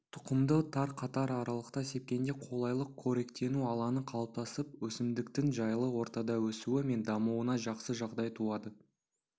тұқымды тар қатар аралықта сепкенде қолайлы қоректену алаңы қалыптасып өсімдіктің жайлы ортада өсуі мен дамуына жақсы жағдай туады